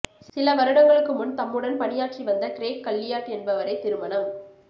சில வருடங்களுக்கு முன் தம்முடன் பணியாற்றி வந்த கிரேக் கல்லியாட் என்பவரை திருமணம்